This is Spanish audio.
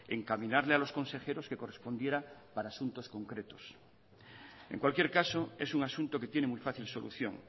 encaminarle a los consejeros que correspondiera para asuntos concretos en cualquier caso es un asunto que tiene muy fácil solución